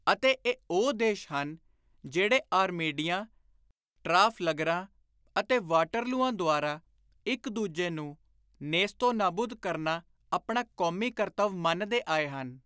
ਅਤੇ ਇਹ ਉਹ ਦੇਸ਼ ਹਨ ਜਿਹੜੇ ਆਰਮੇਡਿਆਂ, ਟ੍ਰਾਫ਼ਲਗਰਾਂ ਅਤੇ ਵਾਟਰਲੂਆਂ ਦੁਆਰਾ ਇਕ ਦੂਜੇ ਨੂੰ ਨੇਸਤੋ-ਨਾਬੁਦ ਕਰਨਾ ਆਪਣਾ ਕੌਮੀ ਕਰਤੱਵ ਮੰਨਦੇ ਆਏ ਹਨ।